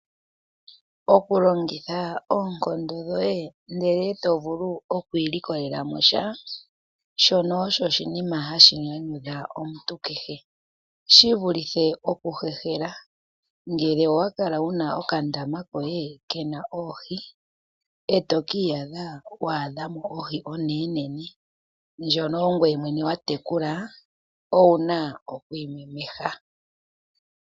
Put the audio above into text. Oku longitha oonkondo dhoye ndele to vulu okwilikolela mo sha, shono osho oshinima hashi nyanyudha omuntu kehe, shi vulithe oku hehela. Ngele owa kala wu na okandaama koye ke na oohi eto ki iyadha wa adha mo ohi onenene ndjono ongoye mwene wa tekula owu na okwimemeha.